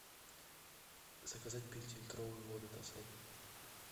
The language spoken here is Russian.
заказать пятилитровую воду тассай